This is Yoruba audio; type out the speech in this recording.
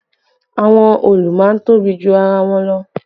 Àwọn òòlù máa ń tóbi ju ara wọn lọ